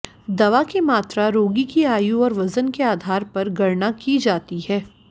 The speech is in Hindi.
दवा की मात्रा रोगी की आयु और वजन के आधार पर गणना की जाती है